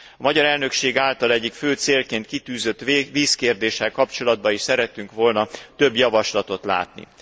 A magyar elnökség által egyik fő célként kitűzött vízkérdéssel kapcsolatban is szerettünk volna több javaslatot látni.